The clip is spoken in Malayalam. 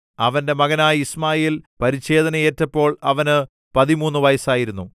അവന്റെ മകനായ യിശ്മായേൽ പരിച്ഛേദനയേറ്റപ്പോൾ അവന് പതിമൂന്നു വയസ്സായിരുന്നു